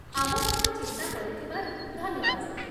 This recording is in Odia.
ଆମ କଥା ଚିନ୍ତା କରିଥିବାରୁ ଧନ୍ୟବାଦ ।